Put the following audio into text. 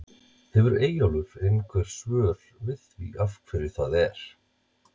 Hefur Eyjólfur einhver svör við því af hverju það er?